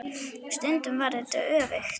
Stundum var þetta öfugt.